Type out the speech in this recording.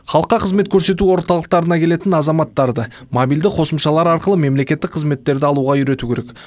халыққа қызмет көрсету орталықтарына келетін азаматтарды мобильді қосымшалар арқылы мемлекеттік қызметтерді алуға үйрету керек